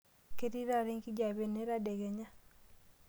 Ketii taata enkijape ena tadekenya.